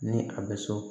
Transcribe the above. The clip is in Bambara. Ni a bɛ so